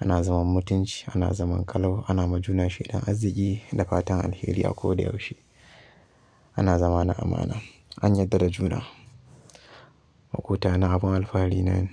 Ana zaman mutunci, ana zaman ƙalau, ana ma juna shaida, arziki da fatan alheri a ko da yaushe. Ana zama na amana, an yarda da juna. Maƙota na abin alfahari nane.